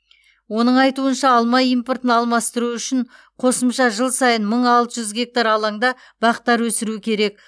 оның айтуынша алма импортын алмастыру үшін қосымша жыл сайын мың алты жүз гектар алаңда бақтар өсіру керек